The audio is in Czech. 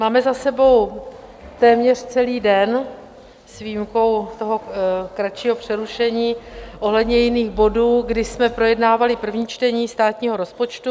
Máme za sebou téměř celý den s výjimkou toho kratšího přerušení ohledně jiných bodů, kdy jsme projednávali první čtení státního rozpočtu.